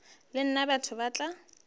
le nna batho ba tla